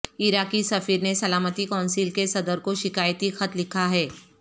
عراقی سفیر نے سلامتی کونسل کے صدر کو شکایتی خط لکھا ہے